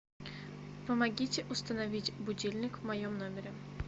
помогите установить будильник в моем номере